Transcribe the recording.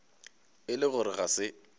e le gore ga se